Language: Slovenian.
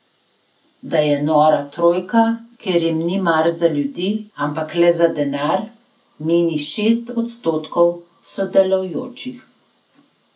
Da je nora trojka, ker ji ni mar za ljudi, ampak le za denar, meni šest odstotkov sodelujočih.